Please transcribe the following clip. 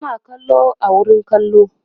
suna kallo a wurin kallo